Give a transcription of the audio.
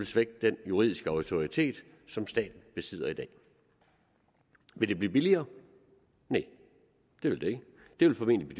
svække den juridiske autoritet som staten besidder i dag vil det blive billigere nej det vil det ikke det vil formentlig